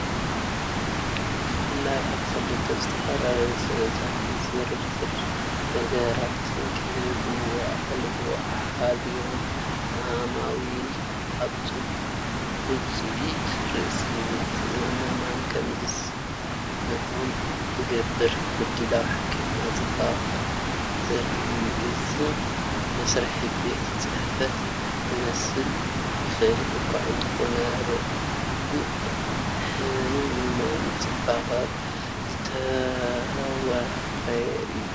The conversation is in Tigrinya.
ብፍላይ ኣብ ክልተ ዝተፈላለዩ ስእልታት ንዝርዝር ነገራት ዝህብዎ ኣቓልቦን ሓልዮትን ዓማዊል ኣብ ውጽኢት ርእሰ-ምትእምማን ከም ዝስምዖም ዝገብር ምድላው ሕክምና ጽባቐ ዘርኢ እዩ። እቲ መስርሕ ቤት ጽሕፈት ክመስል ይኽእል እኳ እንተኾነ፡ ርጉእን ንሕክምና ጽባቐ ዝተወፈየን እዩ።